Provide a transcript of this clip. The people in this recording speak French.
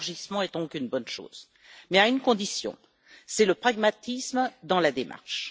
L'élargissement est donc une bonne chose, mais à une condition, c'est le pragmatisme dans la démarche.